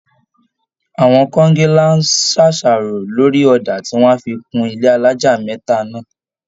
Àwọn kọńgílá ń ṣàṣàrò lórì ọ̀dà tí wọ́n á fi kun ilé alájà mẹ́ta náà